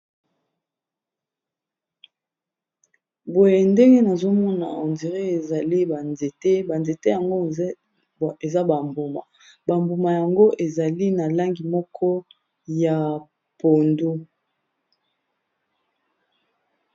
Boye ndenge nazomona on dirait ezali ba nzete banzete yango eza ba mbuma, bambuma yango ezali na langi moko ya pondu.